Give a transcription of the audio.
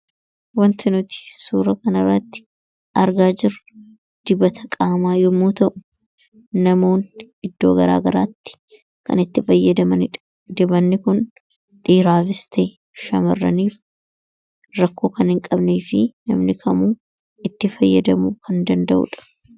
Wanti nuti suura kanarratti argaa jirru dibata qaamaa yommuu ta'u, namoonni iddoo garaa garaatti kan itti fayyadamanidha. Dibatni kun dhiiraafis ta'e, shamarraniif rakkoo kan hin qabnee fi namni kamuu itti fayyadamuu kan danda'udha.